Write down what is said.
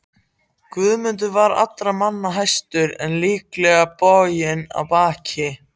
Guðmundur var allra manna hæstur en lítillega boginn í baki.